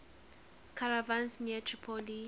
caravans near tripoli